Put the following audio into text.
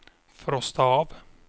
frosta av